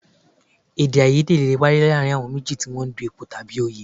Èdèàìyedè lè wáyé láàárín àwọn méjì tí wọ́n jọ ń du ipò tàbí òye